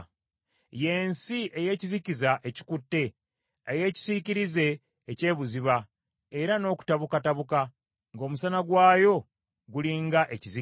y’ensi ey’ekizikiza ekikutte, eyeekisiikirize eky’ebuziba era n’okutabukatabuka, ng’omusana gwayo guli nga ekizikiza.”